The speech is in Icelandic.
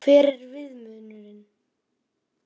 Hver er viðmiðunin?